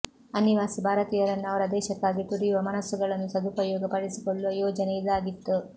ಅನಿವಾಸಿ ಭಾರತೀಯರನ್ನು ಅವರ ದೇಶಕ್ಕಾಗಿ ತುಡಿಯುವ ಮನಸ್ಸುಗಳನ್ನು ಸದುಪಯೋಗ ಪಡಿಸಿಕೊಳ್ಳುವ ಯೋಜನೆ ಇದಾಗಿತ್ತು